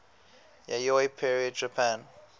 yayoi period japan